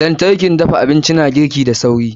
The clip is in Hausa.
lantarkin dafa abinci na girki da sauri.